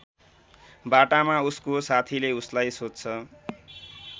बाटामा उसको साथीले उसलाई सोध्छ